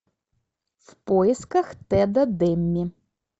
в поисках теда демми